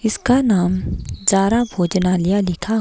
इसका नाम जारा भोजनालिया लिखा --